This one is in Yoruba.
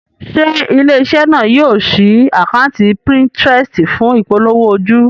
Ṣé ilé-iṣẹ́ náà yóò ṣí àkátì Pinterest fún ìpolówó ojú?